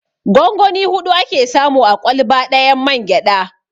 Gongoni huɗu ake samu a ƙwalba ɗayan mangyaɗa.